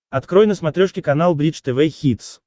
открой на смотрешке канал бридж тв хитс